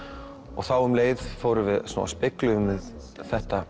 og þá um leið fórum við spegluðum við þetta